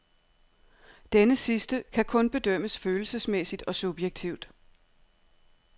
Denne sidste kan kun bedømmes følelsesmæssigt og subjektivt.